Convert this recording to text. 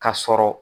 Ka sɔrɔ